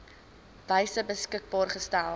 wyse beskikbaar gestel